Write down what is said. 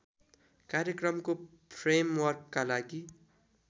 कार्यक्रमको फ्रेमवर्कका लागि